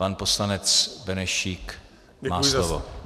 Pan poslanec Benešík má slovo.